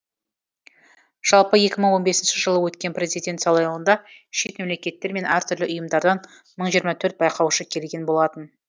жалпы екі мың он бесінші жылы өткен президент сайлауында шет мемлекеттер мен әртүрлі ұйымдардан мың жиырма төрт байқаушы келген болатын